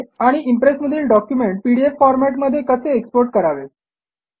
आणि इम्प्रेसमधील document PDF फॉरमॅटमध्ये कसे एक्सपोर्ट करावे